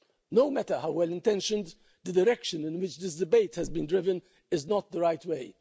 No matter how well intentioned, the direction in which this debate has been driven is not the right way.